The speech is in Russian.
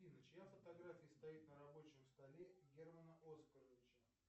афина чья фотография стоит на рабочем столе германа оскаровича